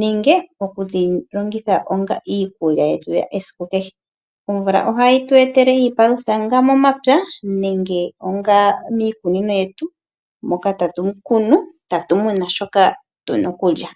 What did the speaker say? nenge okudhilongitha onga iikulya yetu yesiku kehe. Omvula ohayi tu etele iipalutha momapya nenge miikunino yetu moka tatu kunu shoka tu na okulya.